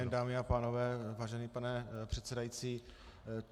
Dobrý den, dámy a pánové, vážený pane předsedající.